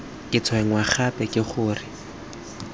ke tshwenngwa gape ke gore